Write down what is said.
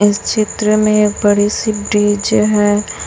इस चित्र में बड़ी सी ब्रिज है।